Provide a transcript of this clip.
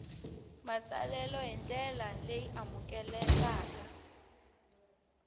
matsalelo hi ndlela leyi amukelekaka